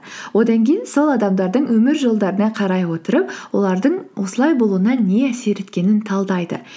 одан кейін сол адамдардың өмір жолдарына қарай отырып олардың осылай болуына не әсер еткенін талдайды